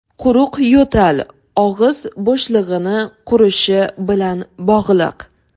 Quruq yo‘tal og‘iz bo‘shlig‘ini qurishi bilan bog‘liq.